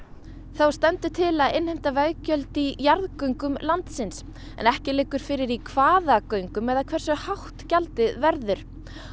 þá stendur til að innheimta veggjöld í jarðgöngum landsins en ekki liggur fyrir í hvaða göngum eða hversu hátt gjaldið verður